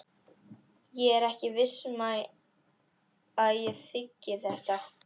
Ég er ekki viss um að ég þiggi þetta.